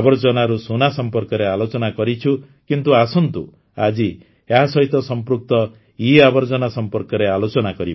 ଆବର୍ଜନାରୁ ସୁନା ସମ୍ପର୍କରେ ଆଲୋଚନା କରିଛୁ କିନ୍ତୁ ଆସନ୍ତୁ ଆଜି ଏହା ସହିତ ସଂପୃକ୍ତ ଇଆବର୍ଜନା ସମ୍ପର୍କରେ ଆଲୋଚନା କରିବା